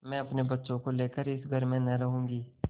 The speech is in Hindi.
मैं अपने बच्चों को लेकर इस घर में न रहूँगी